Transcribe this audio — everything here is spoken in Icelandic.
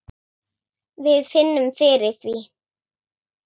Við finnum fyrir því.